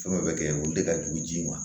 Fɛn o fɛn bɛ kɛ olu de ka jugu ji ma